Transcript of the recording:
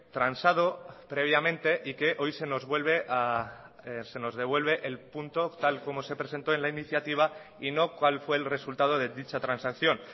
transado previamente y que hoy se nos vuelve a se nos devuelve el punto tal como se presentó en la iniciativa y no cuál fue el resultado de dicha transacción